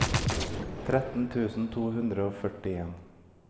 tretten tusen to hundre og førtien